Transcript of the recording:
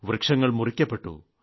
വൃക്ഷങ്ങൾ മുറിക്കപ്പെട്ടു